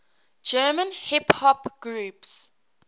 german hip hop groups